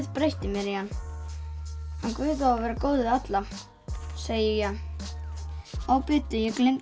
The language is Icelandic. breytti mér í hann hann Guð á að vera góður við alla segi ég bíddu ég gleymdi